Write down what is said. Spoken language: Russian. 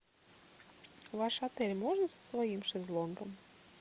в ваш отель можно со своим шезлонгом